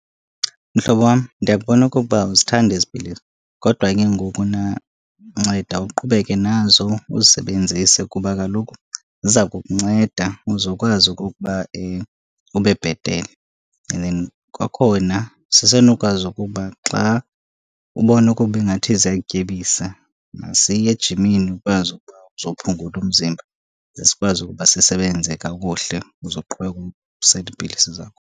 Mhlobo wam, ndiyakubona okokuba awuzithandi ezi pilisi, kodwa ke ngokuna nceda uqhubeke nazo uzisebenzise, kuba kaloku ziza kukunceda uze ukwazi okokuba ube bhetele. And then kwakhona sisenokwazi ukuba xa ubona ukuba ingathi ziyakutyebisa, masiye ejimini ukwazi ukuba uzophungula umzimba ze sikwazi ukuba sisebenze kakuhle uze uqhubeke usele iipilisi zakho.